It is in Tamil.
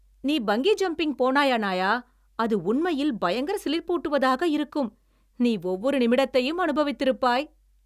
நீ பங்கீ ஜம்பிங் போனாய், அணாயா! அது உண்மையில் பயங்கர சிலிர்ப்பூட்டுவதாக இருக்கும், நீ ஒவ்வொரு நிமிடத்தையும் அனுபவித்திருப்பாய்.